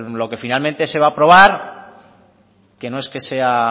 lo que finalmente se va a aprobar que no es que sea